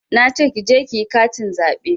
Nace ki je kiyi katin zaɓe